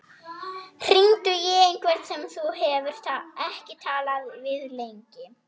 Hringdu í einhvern sem þú hefur ekki talað við lengi.